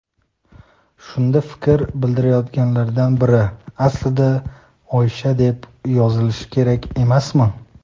Shunda fikr bildirayotganlardan biri: "aslida Oysha deb yozilishi kerak emasmi?"